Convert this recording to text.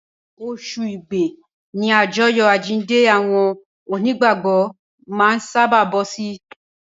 Oṣù Igbe ni àjọyọ̀ àjíǹde àwọn Onígbàgbọ́ máa ń sábàá bọ́ sí.